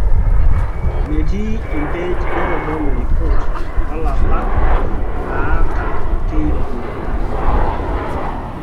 Metii empej naitodolu ripoot olapa naata KPI.